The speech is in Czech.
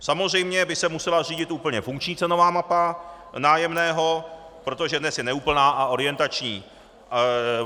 Samozřejmě by se musela zřídit úplně funkční cenová mapa nájemného, protože dnes je neúplná a orientační.